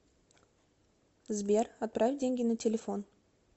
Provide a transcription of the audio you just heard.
сбер отправь деньги на телефон